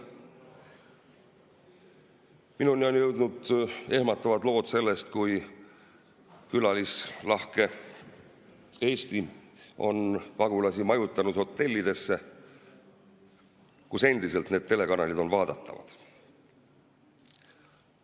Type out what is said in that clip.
Minuni on jõudnud ehmatavad lood sellest, kuidas külalislahke Eesti on pagulasi majutanud hotellidesse, kus endiselt need telekanalid on vaadatavad.